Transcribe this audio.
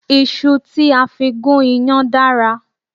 Iṣu tí a fi gún iyán dára